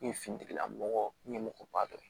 N ye finitigilamɔgɔ ɲɛmɔgɔba dɔ ye